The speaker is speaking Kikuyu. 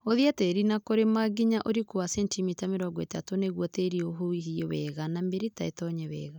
Hũthia tĩĩri na kũrĩma nginya ũriku wa sentimita mĩrongo ĩtatũ nĩguo tĩri ũhuhie wega na mĩrita ĩtonye wega